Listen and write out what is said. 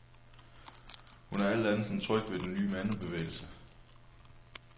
Hun er alt andet end tryg ved den nye mandebevægelse.